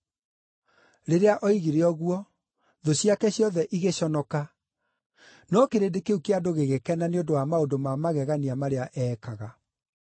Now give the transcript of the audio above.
Rĩrĩa oigire ũguo, thũ ciake ciothe igĩconoka, no kĩrĩndĩ kĩu kĩa andũ gĩgĩkena nĩ ũndũ wa maũndũ ma magegania marĩa eekaga.